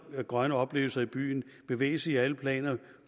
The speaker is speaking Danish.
grønne oplevelser i byen bevægelse i alle planer